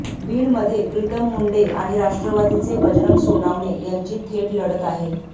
बीडमध्ये प्रीतम मुंडे आणि राष्ट्रवादीचे बजरंग सोनवणे यांची थेट लढत आहे